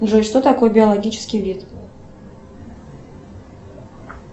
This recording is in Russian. джой что такое биологический вид